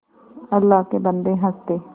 अल्लाह के बन्दे हंस दे